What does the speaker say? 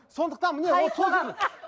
сондықтан міне ол